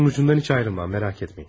Başının ucundan heç ayrılmam, merak etməyin.